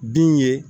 Bin ye